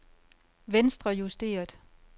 venstrejusteret